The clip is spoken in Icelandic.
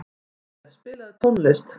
Jósef, spilaðu tónlist.